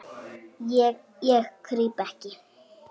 Ég, ég krýp ekki.